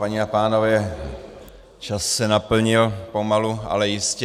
Paní a pánové, čas se naplnil pomalu, ale jistě.